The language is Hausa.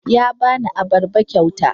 Ya ba ni abarba kyauta.